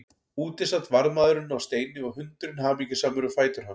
Úti sat varðmaðurinn á steini og hundurinn hamingjusamur við fætur hans.